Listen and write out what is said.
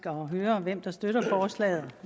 at høre hvem der støtter forslaget og